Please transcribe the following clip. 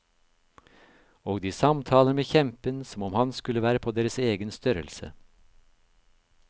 Og de samtaler med kjempen som om han skulle være på deres egen størrelse.